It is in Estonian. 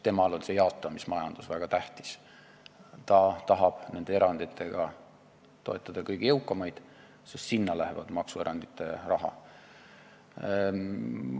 Temale on see jaotamismajandus väga tähtis, ta tahab nende eranditega toetada kõige jõukamaid, sest sinna läheb maksuerandite raha.